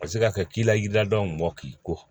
Paseke a kɛ k'i la ji ladon mɔn k'i ko